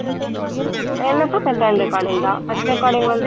எனக்கும் second recording தான் first recording வந்து